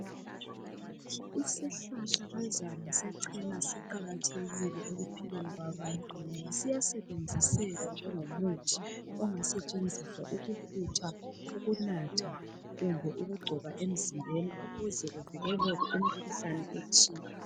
Yisihlahlakazana sechena siqakathekile ekuphileni kwabantu siyasebenziseka njengomuthi ongasetshenziswa ukufutha, ukunatha kumbe ukungcoba emzimbeni ukuze kuvikelele imikhuhlane ethile